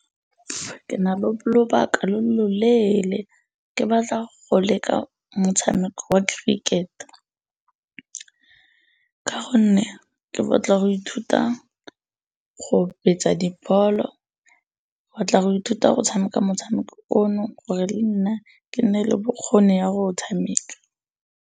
Ke na le lobaka lo loleele. Ke batla go leka motshameko wa cricket ka gonne ke batla go ithuta go betsa dibolo, tla go ithuta go tshameka motshameko ono gore le nna ke nne le bokgoni ya go o tshameka.